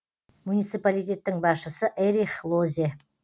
муниципалитеттің басшысы эрих лозе